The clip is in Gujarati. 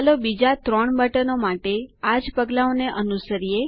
ચાલો બીજા ત્રણ બટનો માટે આજ પગલાંઓને અનુસરો